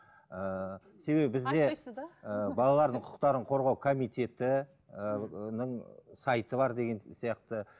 ыыы себебі бізде балалардың құқықтарын қорғау комитеті ыыы сайты бар деген сияқты